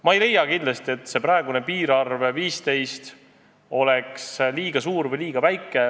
Ma ei leia kindlasti, et praegune piirarv 15 on liiga suur või liiga väike.